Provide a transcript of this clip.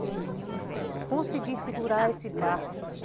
E eu consegui segurar esse barco.